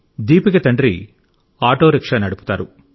దీపిక తండ్రి auto rickshaw నడుపుతారు